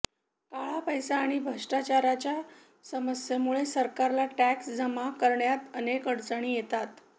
काळापैसा आणि भष्ट्राचाराच्या समस्येमुळे सरकारला टॅक्स जमा करण्यात अनेक अडचणी येतात